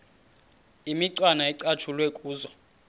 imicwana ecatshulwe kuzo